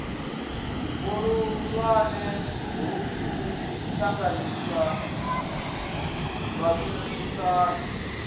vhuhulwane ha u ṱanganyisa vhashumisani